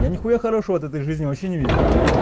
я нихуя хорошего от этой жизни вообще не видел